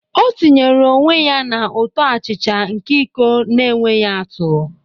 O tinyere onwe ya na ụtọ achicha nke iko na-enweghị atụ.